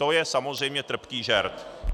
To je samozřejmě trpký žert.